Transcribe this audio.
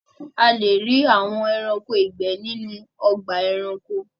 À le rí àwọn ẹ̀ráṇkò igbẹ̀ nínu ọ̀gbà ẹ̀ráṇkò.